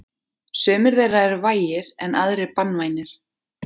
Sumir þeirra eru vægir en aðrir banvænir.